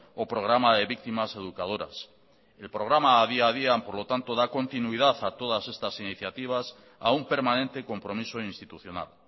o programa de víctimas educadoras el programa adi adian por lo tanto da continuidad a todas estas iniciativas a un permanente compromiso institucional